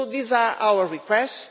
So these are our requests.